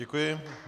Děkuji.